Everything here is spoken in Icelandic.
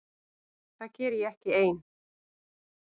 Það geri ég ekki ein.